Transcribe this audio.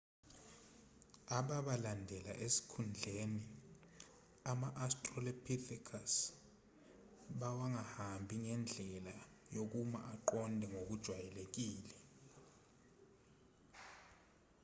ababalandela esikhundleni ama-australopithecus bawangahambi ngendlela yokuma aqonde ngokujwayelekile